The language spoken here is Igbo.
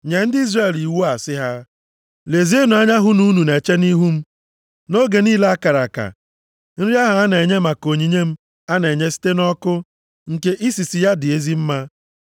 “Nye ndị Izrel iwu a sị ha, ‘Lezienụ anya hụ na unu na-eche nʼihu m, nʼoge niile a kara aka, nri ahụ a na-enye maka onyinye m a na-enye site nʼọkụ, nke isisi ya na-adị m ezi mma.’